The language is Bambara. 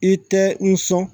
I tɛ nson